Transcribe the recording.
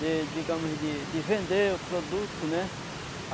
de, digamos, de de vender o produto, né?